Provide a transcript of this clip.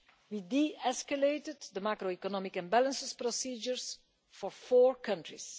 We de-escalated the macroeconomic imbalances procedures for four countries.